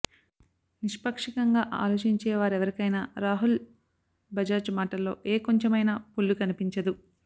నిష్పాక్షికంగా ఆలోచించేవారెవరికైనా రాహుల్ బజాజ్ మాటల్లో ఏ కొంచెమైనా పొల్లు కనిపించదు